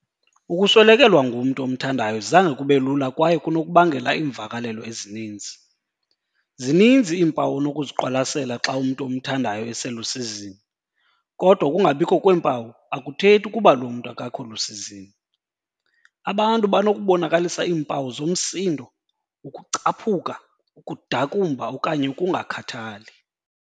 Ukuswelekelwa ngumntu omthandayo zange kube lula kwaye kunokubangela iimvakalelo ezininzi. "Zininzi iimpawu onokuziqwalasela xa umntu omthandayo eselusizini, kodwa ukungabikho kweempawu akuthethi ukuba loo mntu akakho lusizini."Abantu banokubonakalisa iimpawu zomsindo, ukucaphuka, ukudakumba okanye ukungakhathali."